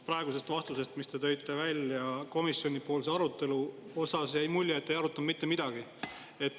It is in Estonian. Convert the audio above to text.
Praegusest vastusest, mis te tõite välja komisjonipoolse arutelu kohta, jäi mulje, et te ei arutanud mitte midagi.